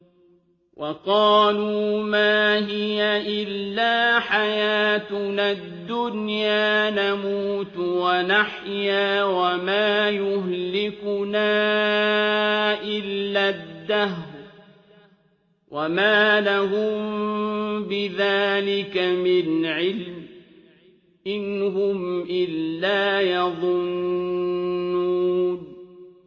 وَقَالُوا مَا هِيَ إِلَّا حَيَاتُنَا الدُّنْيَا نَمُوتُ وَنَحْيَا وَمَا يُهْلِكُنَا إِلَّا الدَّهْرُ ۚ وَمَا لَهُم بِذَٰلِكَ مِنْ عِلْمٍ ۖ إِنْ هُمْ إِلَّا يَظُنُّونَ